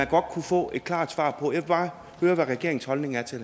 godt kunne få et klart svar på jeg vil bare høre hvad regeringens holdning er til